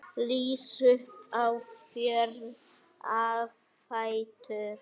Rís upp á fjóra fætur.